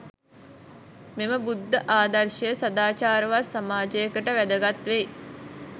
මෙම බුද්ධ ආදර්ශය සදාචාරවත් සමාජයකට වැදගත් වෙයි.